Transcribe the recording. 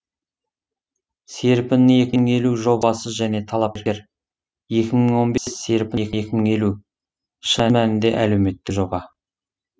серпін екі мың елу жобасы және талапкер екі мың он бес серпін екі мың елу шын мәнінде әлеуметтік жоба